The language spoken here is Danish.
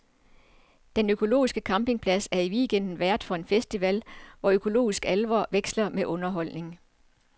Den økologiske campingplads er i weekenden vært for en festival, hvor økologisk alvor veksler med underholdning.